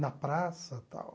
Na praça e tal.